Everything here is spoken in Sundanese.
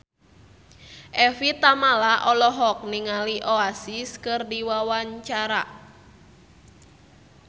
Evie Tamala olohok ningali Oasis keur diwawancara